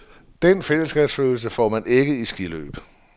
Den fællesskabsfølelse får man ikke i skiløb.